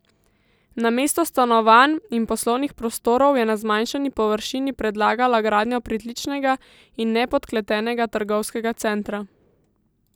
Namesto stanovanj in poslovnih prostorov je na zmanjšani površini predlagalo gradnjo pritličnega in nepodkletenega trgovskega centra.